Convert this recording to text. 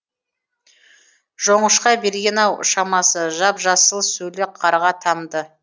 жоңышқа берген ау шамасы жап жасыл сөлі қарға тамды